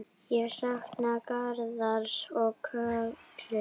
Ég sakna Garðars og Köllu.